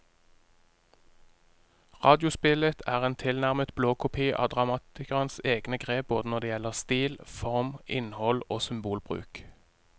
Radiospillet er en tilnærmet blåkopi av dramatikerens egne grep både når det gjelder stil, form, innhold og symbolbruk.